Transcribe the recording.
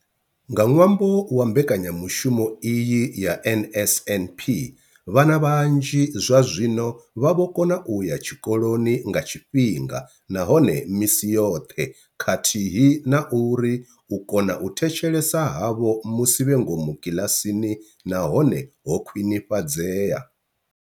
Nga ṅwambo wa mbekanya mushumo iyi ya NSNP, vhana vhanzhi zwazwino vha vho kona u ya tshikoloni nga tshifhinga nahone misi yoṱhe khathihi na uri u kona u thetshelesa havho musi vhe ngomu kiḽasini na hone ho khwinifhadzea.